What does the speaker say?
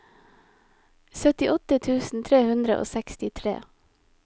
syttiåtte tusen tre hundre og sekstitre